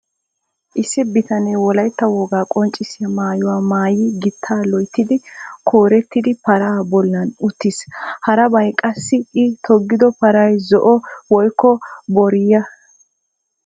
Issi bitanee, Wolaytta wogaa qonccissiyaa maayuwaa maayi gittaa loyttidi, koorettida paraa bollan uttiis. harabay qassii i togido paray zo''o woykko booriyaa.